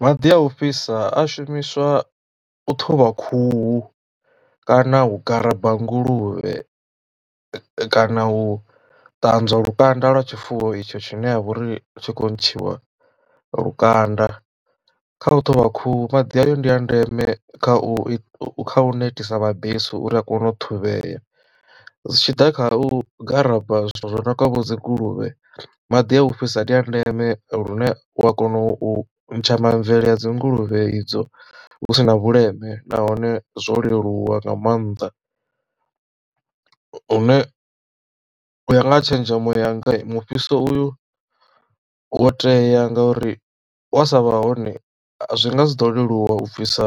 Maḓi a u fhisa a shumiswa u ṱhuvha khuhu kana u garaba nguluvhe kana u ṱanzwa lukanda lwa tshifuwo itsho tshine ha vha uri tshi kho ntshiwa lukanda. Kha u ṱhuvha khuhu maḓi ayo ndi a ndeme kha u kha u netisa mabesu uri a kone u ṱhuvhea zwi tshiḓa kha u garaba zwithu zwo no nga vho dzinguluvhe maḓi a u fhirisa ndi a ndeme lune wa kona u ntsha mamvele a dzinguluvhe idzo hu si na vhuleme nahone zwo leluwa nga maanḓa. Lune u ya nga tshenzhemo yanga mufhiso uyu wo tea ngauri wa sa vha hone zwi nga si ḓo leluwa u bvisa